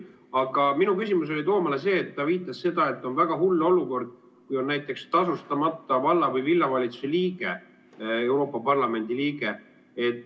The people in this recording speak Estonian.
Aga minu küsimus Toomale oli see, et ta viitas, et on väga hull olukord, kui Euroopa Parlamendi liige on näiteks tasustamata valla- või linnavalitsuse liige.